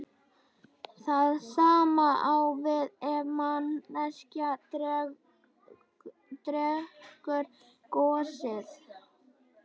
Það sama á við ef manneskja drekkur gosið.